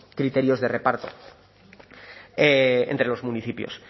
criterios de reparto entre los municipios